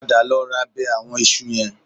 Padà lọ ra bẹ àwọn iṣu yẹn